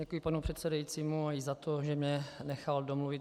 Děkuji panu předsedajícímu i za to, že mě nechal domluvit.